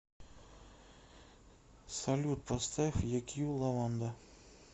салют поставь екью лаванда